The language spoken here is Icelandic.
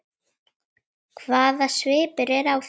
Hvaða svipur er á þér!